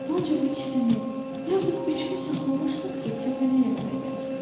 Ancaq ikisini, yaxud üçünü saxlamışdım ki, kəpənəyə əmələ gəlsin.